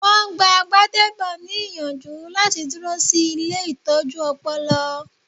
Wọn gbáà Gbádébò ní ìyànjú láti dúró sí ilée ìtọ́jú ọpọlọ